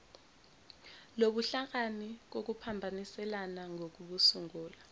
lobuhlakani kokuphambaniselana ngokusungula